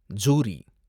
jury